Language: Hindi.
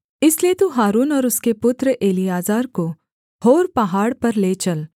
इसलिए तू हारून और उसके पुत्र एलीआजर को होर पहाड़ पर ले चल